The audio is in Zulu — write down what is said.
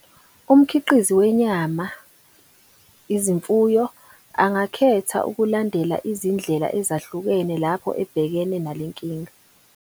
Umkhiqizi wenyama, izimfuyo, angakhetha ukulandela izindlela ezahlukene lapho ebhekene nale nkinga.